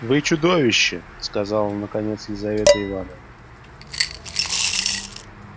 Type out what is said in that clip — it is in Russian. вы чудовище сказала наконец елизавета ивановна